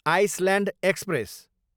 island express